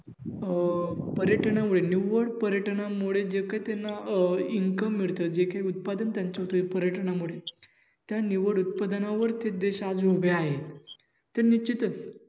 अं पर्यटनामुळे ते निव्वळ पर्यटनामुळे जे काही त्यांना अं income मिळत जे काही उत्पादन त्यांचं ते पर्यटनांमुळे त्या निव्वळ उत्पादनावर ते देश आज उभे आहेत.